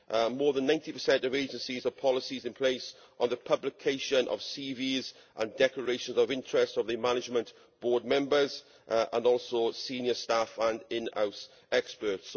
More than 90 of agencies have policies in place on the publication of the CVs and declarations of interest of the management board members and also senior staff and in house experts.